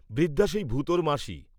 বৃদ্ধা সেই ভূতোর মাসী।